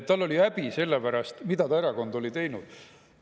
Tal oli häbi selle pärast, mida ta erakond oli teinud.